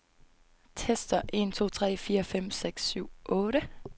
Tester en to tre fire fem seks syv otte.